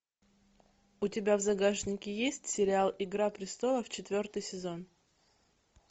у тебя в загашнике есть сериал игра престолов четвертый сезон